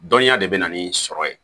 Dɔnniya de bɛ na ni sɔrɔ ye